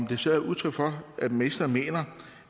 det så udtryk for at ministeren mener